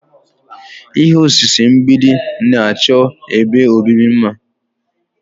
Ihe osise mgbidi na-achọ ebe obibi mma.